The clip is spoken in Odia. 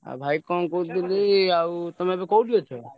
ଆଉ ଭାଇ କଣ କହୁଥିଲି ଆଉ ତମେ ଏବେ କୋଉଠି ଅଛ?